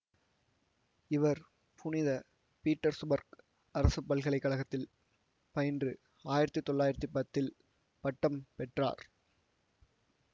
இவர் புனித பீட்டர்சுபர்க் அரசு பல்கலை கழகத்தில் பயின்று ஆயிரத்தி தொள்ளாயிரத்தி பத்தில் பட்டம் பெற்றார்